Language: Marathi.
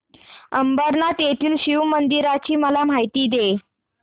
अंबरनाथ येथील शिवमंदिराची मला माहिती दे